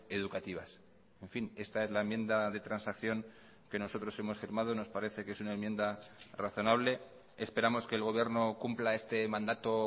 educativas en fin esta es la enmienda de transacción que nosotros hemos firmado nos parece que es una enmienda razonable esperamos que el gobierno cumpla este mandato